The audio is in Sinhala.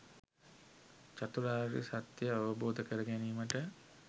චතුරාර්ය සත්‍යය අවබෝධ කරගැනීමට